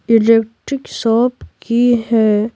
Electric shop की है।